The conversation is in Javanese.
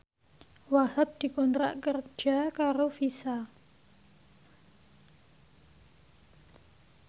Wahhab dikontrak kerja karo Visa